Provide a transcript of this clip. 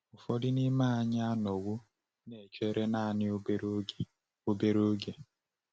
Ụfọdụ n’ime anyị anọwo na-echere naanị obere oge. obere oge.